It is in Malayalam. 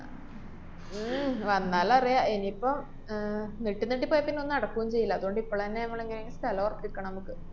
ഉം വന്നാലറിയാം. ഇനീപ്പം ആഹ് നീട്ടി നീട്ടി പോയാപ്പിന്നെ ഒന്നും നടക്കൊന്നും ചെയ്യില്ല. അതുകൊണ്ട് ഇപ്പളന്നെ മ്മളെങ്ങനെയെങ്കിലും സ്ഥലം ഉറപ്പിക്കണം മ്മക്ക്.